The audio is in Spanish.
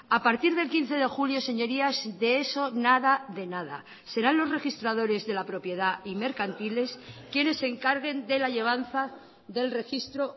a partir del quince de julio señorías de eso nada de nada serán los registradores de la propiedad y mercantiles quienes se encarguen de la llevanza del registro